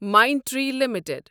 Mindtree limited